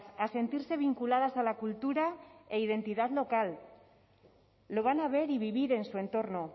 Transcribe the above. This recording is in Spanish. a sentirse vinculadas a la cultura e identidad local lo van a ver y vivir en su entorno